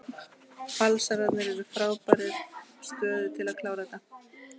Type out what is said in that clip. Valsararnir eru í frábærri stöðu til að klára þetta.